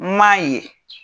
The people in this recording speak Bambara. N m'a ye.